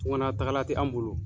Tuganna tagala tɛ an bolo.